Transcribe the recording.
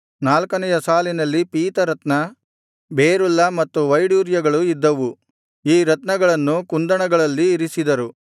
ನಾಲ್ಕನೆಯ ಸಾಲಿನಲ್ಲಿ ಪೀತರತ್ನ ಬೆರುಲ್ಲ ಮತ್ತು ವೈಡೂರ್ಯಗಳು ಇದ್ದವು ಈ ರತ್ನಗಳನ್ನು ಕುಂದಣಗಳಲ್ಲಿ ಇರಿಸಿದರು